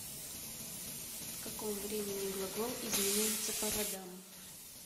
в каком времени глагол изменяется по родам